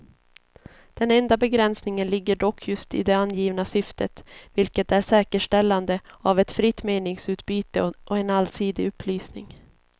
Den enda begränsningen ligger dock just i det angivna syftet, vilket är säkerställande av ett fritt meningsutbyte och en allsidig upplysning.